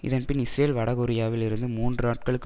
இதன்பின் இஸ்ரேல் வட கொரியாவில் இருந்து மூன்று நாட்களுக்கு